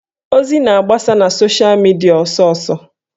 Ozi na-agbasa na sosha midia ọsọsọ